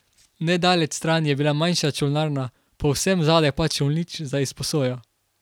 Nedaleč stran je bila manjša čolnarna, povsem zadaj pa čolnič za izposojo.